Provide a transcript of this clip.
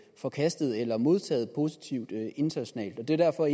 forkastet eller modtaget positivt internationalt det er derfor